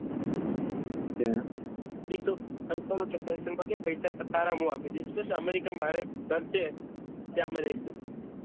ત્યાં પૈસા નો tension ના લઈશ તારા પૈસા હું આપી દઈશ બસ અમેરિકા માં મારે ખર્ચે ત્યાં અમે રહીશું